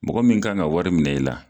Mɔgɔ min kan ka wari minɛ i la